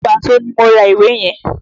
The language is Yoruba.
Wàsó ni mo ra ìwé yẹn.